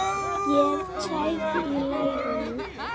Ég er tæp í lærinu.